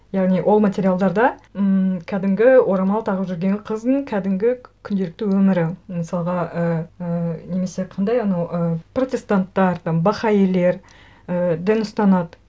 яғни ол материалдарда ммм кәдімгі орамал тағып жүрген қыздың кәдімгі күнделікті өмірі мысалға ііі немесе қандай анау і протестанттар там бахаилер і дін ұстанады